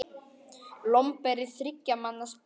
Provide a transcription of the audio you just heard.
Lomber er þriggja manna spil.